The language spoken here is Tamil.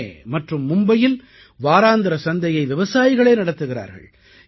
புனே மற்றும் மும்பையில் வாராந்திர சந்தையை விவசாயிகளே நடத்துகிறார்கள்